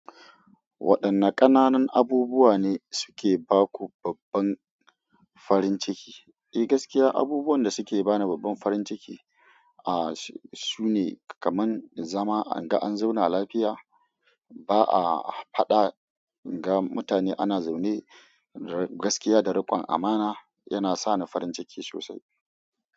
Waɗanne ƙananan abubuwa ne suke ba ku babban farin ciki? Eh, gaskiya abubuwan da suke bani babban farin ciki, ah, sune kaman zama, inga an zauna lafiya, ba a faɗa, inga mutane ana zaune gaskiya da riƙon amana, yana sani farin ciki sosai.